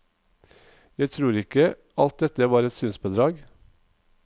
Jeg tror ikke alt dette var et synsbedrag.